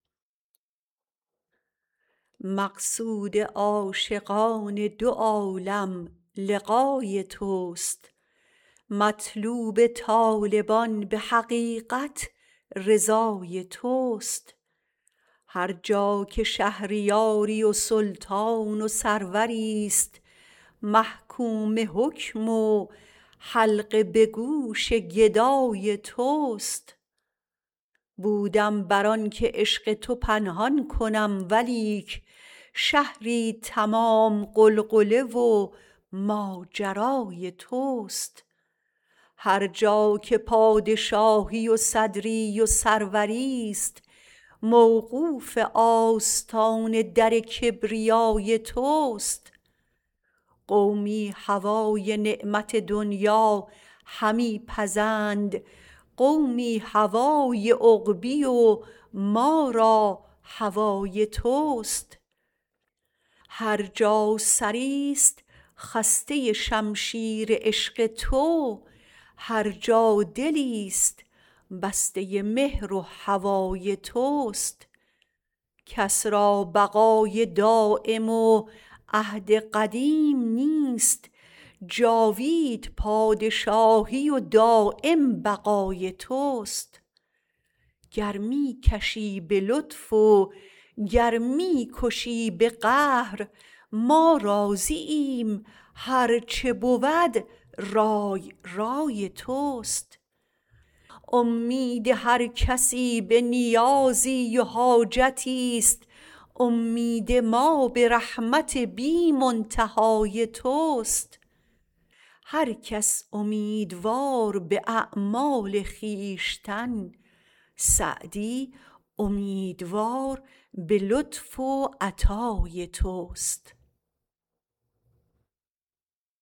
مقصود عاشقان دو عالم لقای توست مطلوب طالبان به حقیقت رضای توست هر جا که شهریاری و سلطان و سروریست محکوم حکم و حلقه به گوش گدای توست بودم بر آن که عشق تو پنهان کنم ولیک شهری تمام غلغله و ماجرای توست هر جا که پادشاهی و صدری و سروریست موقوف آستان در کبریای توست قومی هوای نعمت دنیا همی پزند قومی هوای عقبی و ما را هوای توست هر جا سریست خسته شمشیر عشق تو هر جا دلیست بسته مهر و هوای توست کس را بقای دایم و عهد قدیم نیست جاوید پادشاهی و دایم بقای توست گر می کشی به لطف وگر می کشی به قهر ما راضییم هرچه بود رای رای توست امید هر کسی به نیازی و حاجتی است امید ما به رحمت بی منتهای توست هر کس امیدوار به اعمال خویشتن سعدی امیدوار به لطف و عطای توست